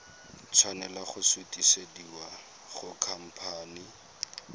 tshwanela go sutisediwa go khamphane